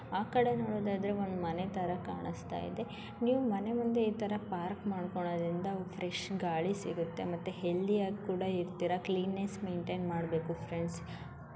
ಆ ಕಡೆ ನೋಡೋದಾದ್ರೆ ಒಂದ್ ಮನೆ ತರ ಕಾಣಿಸ್ತಾ ಇದೆ ನೀವು ಮನೆ ಮುಂದೆ ಈ ತರಾ ಪಾರ್ಕ್ ಮಾಡ್ಕೊಂಡ್ರಿಂದ ಫ್ರೆಶ್ ಗಾಳಿ ಸಿಗುತ್ತೆ ಮತ್ತೆ ಹೆಲ್ದಿಯಾಗ್ ಕೂಡ ಇರ್ತೀರ ಕ್ಲೀನ್ನೆಸ್ ಮೈನ್ಟೈನ್ ಮಾಡ್ಬಕು ಫ್ರೆಂಡ್ಸ್ .